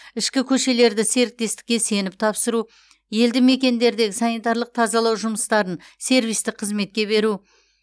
ішкі көшелерді серіктестікке сеніп тапсыру елді мекендердегі санитарлық тазалау жұмыстарын сервистік қызметке беру